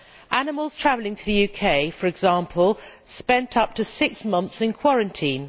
Animals travelling to the UK, for example, spent up to six months in quarantine.